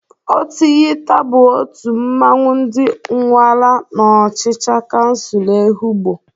Ọtịghịta bụ otu mmanwụ ndị Ụnwara n'ọchịcha kansul Ehụgbọ.